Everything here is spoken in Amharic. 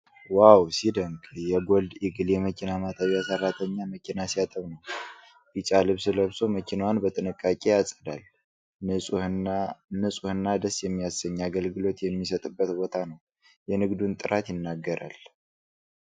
ዋው ሲያስደንቅ! የጎልድ ኢግል የመኪና ማጠቢያ ሰራተኛ መኪና ሲያጥብ ነው ። ቢጫ ልብስ ለብሶ መኪናዋን በጥንቃቄ ያጸዳል። ንፁህና ደስ የሚያሰኝ አገልግሎት የሚሰጥበት ቦታ ነው!። የንግዱን ጥራት ይናገራል!።